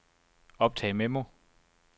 optag memo